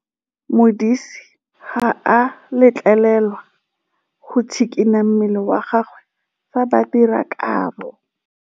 Modise ga a letlelelwa go tshikinya mmele wa gagwe fa ba dira karô.